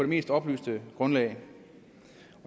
mest oplyste grundlag